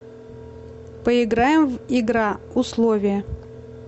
поиграем в игра условия